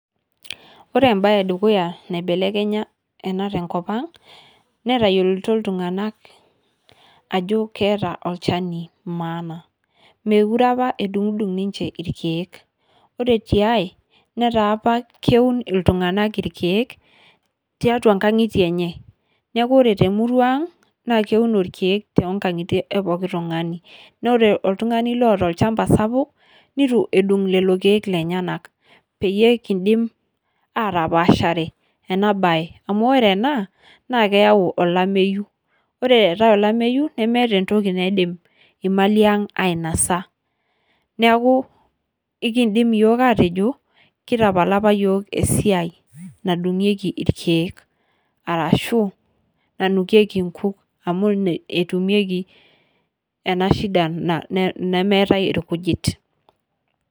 Ore ebae edukuya naibelekenya ena tenkop ang',netayioloito iltung'anak ajo keeta olchani maana. Mekure apa edung'dung' ninche irkeek. Ore tiai, netaa apa keun iltung'anak irkeek, tiatua ingang'itie enye. Neeku ore temurua ang, na keuno irkeek tonkang'itie epooki tung'ani. Na ore oltung'ani loota olchamba sapuk, nitu edung' lelo keek lenyanak. Peyie kidim atapashare enabae. Amu ore ena, naa keyau olameyu. Ore eetae olameyu, nemeeta entoki naidim imali ang' ainasa. Neeku, ekidim iyiok atejo, kitapala apa yiok esiai nadung'ieki irkeek. Arashu, nanukieki inkuk amu ine etumieki enashida, nemeetae irkujit.